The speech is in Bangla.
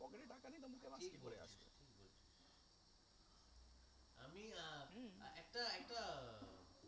আমি আর কি একটা একটা